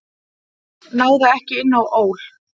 Náði ekki inn á ÓL